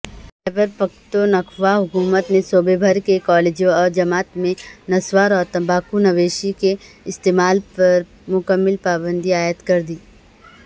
خیبر پختونخوا حکومت نے صوبے بھرکے کالجوں اورجامعات میں نسواراورتمباکونوشی کے استعمال پرمکمل پابندی عائدکردی